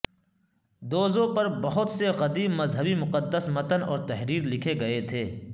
دوزو پر بہت سے قدیم مذہبی مقدس متن اور تحریر لکھے گئے تھے